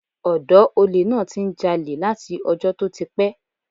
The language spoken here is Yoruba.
Ọ̀dọ́ olè náà ti ń jalè láti ọjọ́ tó ti pẹ́.